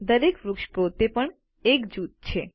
દરેક વૃક્ષ પોતે પણ એક જૂથ છે